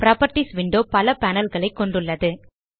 properties window பல panelகளை கொண்டுள்ளது